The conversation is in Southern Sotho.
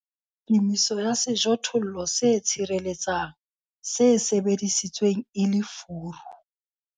Kemiso ka sejothollo se tshireletsang, se sebedisitsweng e le furu